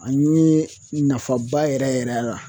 An ɲe nafaba yɛrɛ yɛrɛ yɛrɛ ye a la